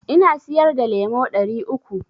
Na siyar da lemo ɗari uku.